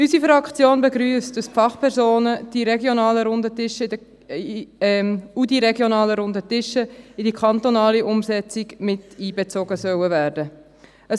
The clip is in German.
Unsere Fraktion begrüsst, dass die Fachpersonen und die regionalen Runden Tische in die kantonale Umsetzung miteinbezogen werden sollen.